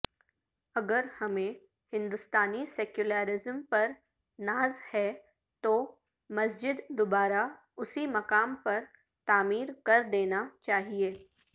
اگرہمیں ہندوستانی سیکولرازم پر ناز ہے تو مسجد دوبارہ اسی مقام پر تعمیر کردینا چاہئے